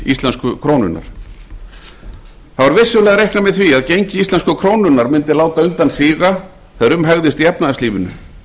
íslensku krónunnar það var vissulega reiknað með því að gengi íslensku krónunnar mundi láta undan síga þegar um hægðist í efnahagslífinu